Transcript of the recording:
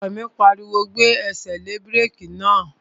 Ọkọ mi pariwo, "Gbé ẹsẹ̀ lé búrèkì náà!"